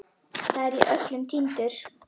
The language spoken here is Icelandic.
Þar er ég öllum týndur.